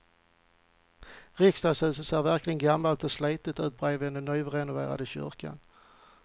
Riksdagshuset ser verkligen gammalt och slitet ut bredvid den nyrenoverade kyrkan.